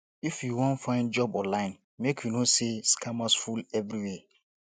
if you wan find job online make you know sey scammers full everywhere